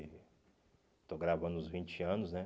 Estou gravando os vinte anos, né?